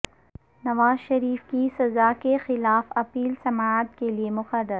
نواز شریف کی سزا کیخلاف اپیل سماعت کیلئے مقرر